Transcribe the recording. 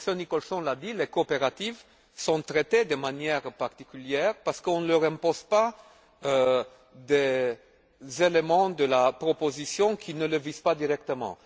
Comme M. Nicholson l'a dit, les coopératives sont traitées de manière particulière parce qu'on ne leur impose pas des éléments de la proposition qui ne les visent pas directement.